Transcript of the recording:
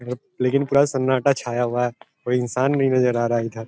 लेकिन पूरा सन्नाटा छाया हुआ है कोई इंसान नहीं नज़र आ रहा है इधर |